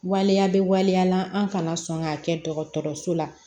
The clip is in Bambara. Waleya bɛ waleya la an kana sɔn k'a kɛ dɔgɔtɔrɔso la